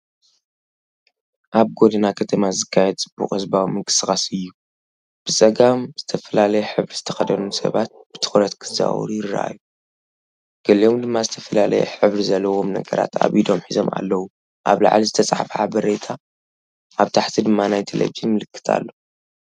ኣብ ጎደና ከተማ ዝካየድ ጽዑቕ ህዝባዊ ምንቅስቓስ እዩ። ብጸጋም ዝተፈላለየ ሕብሪ ዝተኸድኑ ሰባት ብትኹረት ክዘዋወሩ ይረኣዩ፤ ገሊኦም ድማ ዝተፈላለየ ሕብሪ ዘለዎም ነገራት ኣብ ኢዶም ሒዞም ኣለዉ። ኣብ ላዕሊ ዝተጻሕፈ ሓበሬታ ኣብ ታሕቲ ድማ ናይ ቴሌቪዥን ምልክት ኣሎ።